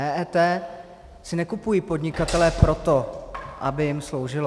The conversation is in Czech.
EET si nekupují podnikatelé proto, aby jim sloužilo.